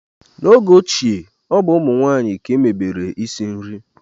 n'oge ochie, ọ bụ ụmụ nwanyị ka emebere isi nri